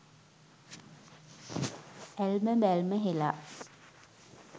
ඇල්ම බැල්ම හෙළා